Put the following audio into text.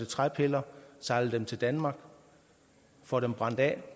træpiller sejler dem til danmark og får dem brændt af